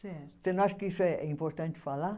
Certo. Você não acha que isso é importante falar?